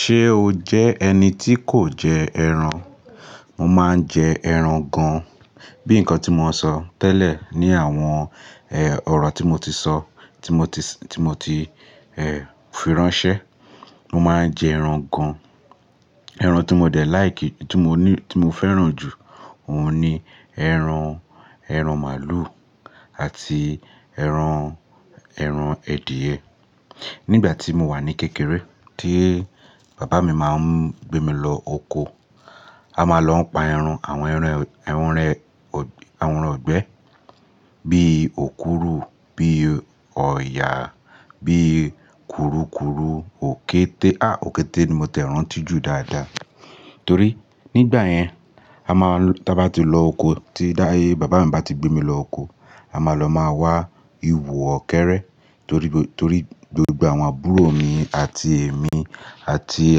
Ṣé o jẹ́ ẹni tí kò jẹ ẹran? Mo máa ń jẹ ẹran gan. Bí nǹkan tí mo sọ tẹ́lẹ̀ ní àwọn, ẹ́, ọ̀rọ̀ tí mo ti sọ, tí mo ti s-- tí mo ti, ẹ́, fi ránṣẹ́. Mo máa ń jẹ ẹran gan. Ẹran tí mo dẹ̀ láìkì, tí mo ní, tí mo fẹ́ràn jù, òun ni ẹran, ẹran màálù àti ẹran, ẹran èdìẹ̀. Nígbà tí mo wà ní kékeré, tí bàbá mi máa ń gbé mi lọ oko, a máa lọ pa ẹran, àwọn ẹran, ẹran rẹ̀, àwọn ẹran ọ̀gbẹ́, bí òkúrú, bí ọ̀yà, bí kùrukùru, òkété. À, òkété ni mo tẹ̀ ràn ti jù dáadáa. Torí nígbà yẹn, a máa l-- tí a bá ti lọ oko, tí dá, ẹ, bàbá mi bá ti gbé mi lọ oko, a máa lọ máa wá ihò ọ̀kẹ́rẹ́. Torí gbogbo, torí gbogbo àwọn àbúrò mi àti èmi àti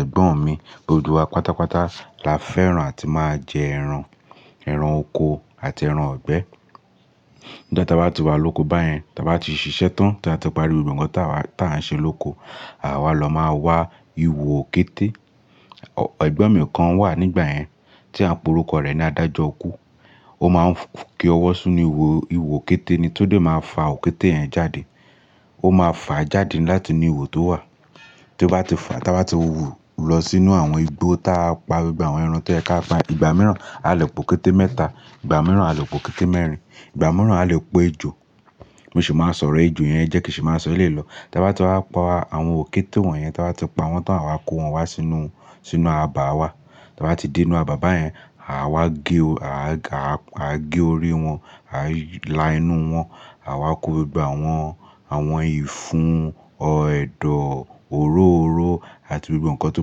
ẹ̀gbọ́n mi, gbogbo wa pátápátá la fẹ́ràn àti máa jẹ ẹran, ẹran oko àti ẹran ọ̀gbẹ́. Ìgbà táa bá ti wá lóko báyẹn, táa bá ti ṣiṣẹ́ tán, táa bá ti parí ohun kan táa wá, táa ń ṣe lóko, àwa lọ máa wá ihò òkété. Ọ̀, ẹ̀gbọ́n mi kan wà nígbà yẹn tí à ń pe orúkọ rẹ̀ ni Adájọkú. Ó máa ń fi, kí ọwọ́ sínú ihò, ihò òkété ni. Tódé máa fa òkété yẹn jáde. Ó máa fà á jáde láti inú ihò tó wà. Tí ó bá ti fà á, táa bá ti wú u lọ sínú àwọn igbó táa pa gbogbo àwọn ẹran tó jẹ kí a pa, ìgbà mìíràn a lè po òkété mẹ́ta, ìgbà mìíràn a lè po òkété mẹ́rin, ìgbà mìíràn a lè po ejò. Mi sì máa ń sọ̀rọ̀ ẹjò yẹn jẹ kí sì máa sọ̀rọ̀ lè lọ. Táa bá ti wá pa àwọn òkété wọ̀nyẹn, táa bá ti pa wọ́n tán, àwa kó wọn wá sínú, sínú abà wa. Táa bá ti dé inú abà báyẹn, àwa gé o, à wa gé orí wọn, à lá inú wọn, à wa kó gbogbo àwọn, àwọn ìfun, ọ̀ ẹdọ̀, òróro àti gbogbo nǹkan tó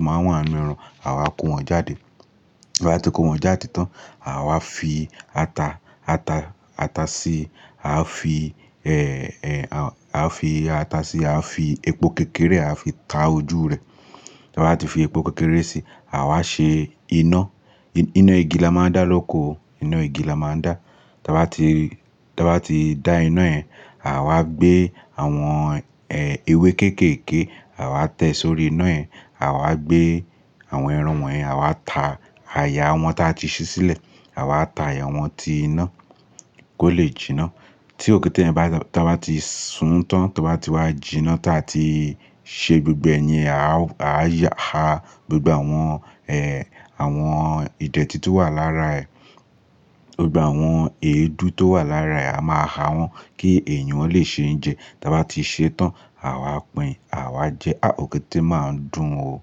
máa wà nínú ẹran, à wa kó wọn jáde. Bá ti kó wọn jáde tán, à wa fi ata, ata, ata sí, à á fi, ẹ́, ẹ́, à, à á fi ata sí i, à á fi epo kékeré, à á fi ta ojú rẹ̀. Táa bá ti fi epo kékeré sí i, à wa ṣe iná. Iná igi la máa ń dá lóko. Iná igí la máa ń dá. Táa bá ti, táa bá ti dá iná yẹn, à wa gbé àwọn, ẹ́, ewé kéékèèké, à wa tẹ́ sórí iná yẹn, à wa gbé àwọn ẹran wọ̀nyẹn, à wa ta àyà wọn táa ti ṣí sílẹ̀, à wa ta àyà wọn tí iná kó lè jinná. Tí òkété yẹn bá, táa bá ti sun tán, táa bá ti wá jinná táa ti ṣe gbogbo ẹ̀yin, à wa, à yà, à gbogbo àwọn, ẹ́, àwọn ìdẹ̀tí tó wà lára ẹ̀, gbogbo àwọn èédú tó wà lára ẹ̀, a máa ha wọ́n kí èèyàn lè ṣe jẹ. Táa bá ti ṣe tán, à wa pìn in, à wa jẹ ẹ. À, òkété máa ń dùn o.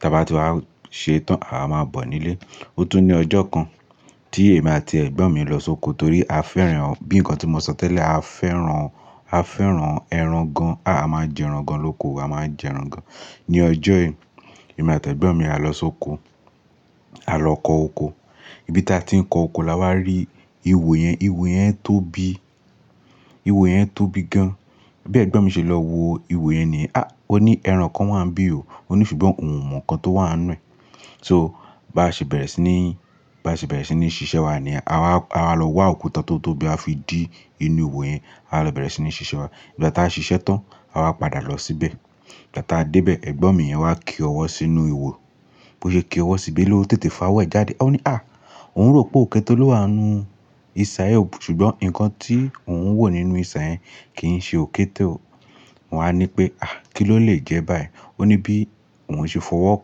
Táa bá ti wá ṣe tán, à wa máa bọ̀ nílé. Ó tún ní ọjọ́ kan tí èmi àti ẹ̀gbọ́n mi lọ sóko torí a fẹ́ran, bí nǹkan tí mo sọ tẹ́lẹ̀, a fẹ́ran, a fẹ́ran ẹran gan. À, a máa ń jẹ ẹran gan lóko. A máa ń jẹ ẹran gan. Ní ọjọ́ yìí, èmi àti ẹ̀gbọ́n mi a lọ sóko, a lọ kọ oko. Ibi táa ti ń kọ oko la wá rí ihò yẹn. Ihò yẹn tóbi. Ihò yẹn tóbi gan. Ẹ̀gbọ́n mi ṣe lọ wo ihò yẹn ni. "À," ó ní, "ẹran kan wà níbí o." Ó ní ṣùgbọ́n òun mò ǹkan tó wà nínú. So bá ṣe bẹ̀rẹ̀ sí ní, bá ṣe bẹ̀rẹ̀ sí ní ṣiṣẹ́ wa ni. À wa, à wa lọ wá òkúta tó tóbi a fi dí inú ihò yẹn. A lọ bẹ̀rẹ̀ sí ní ṣiṣẹ́ wa. Ìgbà táa ṣe ṣiṣẹ́ tán, à wa padà lọ síbẹ̀. Ìgbà táa dé bẹ̀, ẹ̀gbọ́n mi yẹn wá kí ọwọ́ sínú ihò. Bí ó ṣe kí ọwọ́ síbé ló tètè fa wẹ̀ jáde. Ó ní, "À!" Òun rò pé òkété ló wà nínú isà hò iyẹn, ṣùgbọ́n ǹkan tí òun ń wò nínú isá yẹn kì n ṣe òkété o. Wàá ni pé, "À! Kí ló lè jẹ́ bá yẹn?" Ó ní bí òun ṣe fọwọ́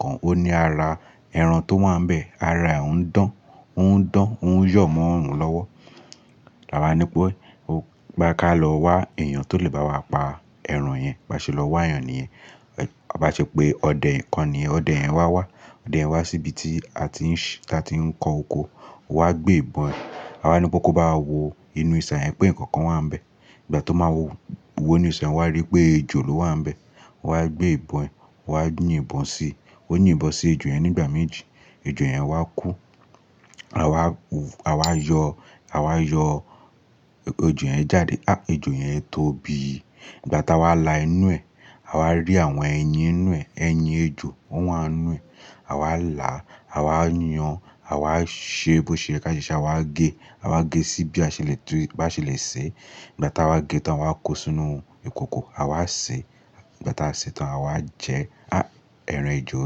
kàn ó, ó ní ara ẹran tó wà níbẹ̀, ara ẹ̀ ń dán. Ó ń dán, ó ń yọ̀ mọ́ òòrùn lọ́wọ́. À wa ní pé, "O, bá ka lọ wá èèyàn tó lè bá wa pa ẹran yẹn." A bá ṣe lọ wá yàn niyẹn. A bá ṣe pé ọdẹ kan ni. Ọdẹ yẹn wá wá. Ọdẹ yẹn wá sí ibi tí a ti ń ṣí, tí a ti ń kọ oko. Wa gbé ìbọn. À wa ní pé kó bá wo inú isà yẹn pé nǹkan kan wà níbẹ̀. Ìgbà tó máa wo inú isà yẹn, wàá rí pé ejò ló wà níbẹ̀. Wà á gbé ìbọn, wà á yín ìbọn sí i. Ó yín ìbọn sí ejò yẹn nígbà méjì. Ejò yẹn wá kú. À wa, à wa yọ, à wa yọ ejò yẹn jáde. À, ejò yẹn tóbi. Ìgbà táa wa la inú ẹ, à wa rí àwọn ẹyin nínú ẹ. Ẹyin ejò, wọ́n wà nínú ẹ. À wa la, à wa yan, à wa ṣe bí ó ṣe rẹ ká ṣe ṣe. À wa gé, à wa gé síbi bi á ṣe lè tú, bá ṣe lè sè é. Ìgbà táa wa gé tán, awá kó sínú ìkòkò. À wa sè é. Ìgbà táa a sè tán, à wa jẹ ẹ. À, ẹran ejò.